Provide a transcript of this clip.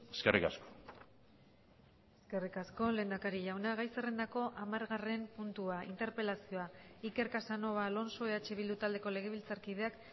eskerrik asko eskerrik asko lehendakari jauna gai zerrendako hamargarren puntua interpelazioa iker casanova alonso eh bildu taldeko legebiltzarkideak